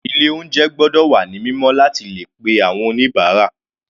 Ilé oúnjẹ gbọ́dọ̀ wà ní mímọ́ láti le pe àwọn oníbàárà.